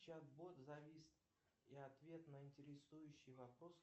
чат бот завис и ответ на интересующий вопрос